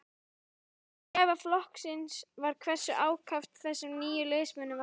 Ógæfa flokksins var hversu ákaft þessum nýju liðsmönnum var fagnað.